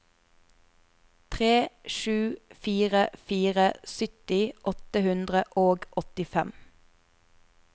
tre sju fire fire sytti åtte hundre og åttifem